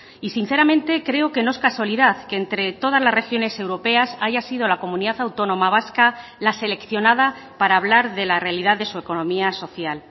y sinceramente creo que no es casualidad que entre todas las regiones europeas haya sido la comunidad autónoma vasca la seleccionada para hablar de la realidad de su economía social